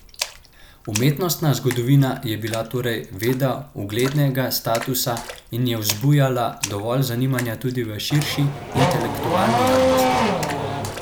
Umetnostna zgodovina je bila torej veda uglednega statusa in je vzbujala dovolj zanimanja tudi v širši intelektualni javnosti?